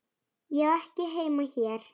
Ég á ekki heima hér.